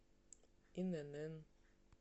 инн